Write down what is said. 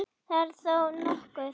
Það er þó nokkuð.